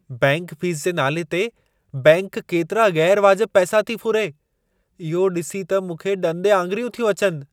Bank fees जे नाले ते बैंक केतिरा ग़ैरु वाजिबु पैसा थी फुरे, इहो ॾिसी त मूंखे ॾंदे आङिरियूं थियूं अचिनि!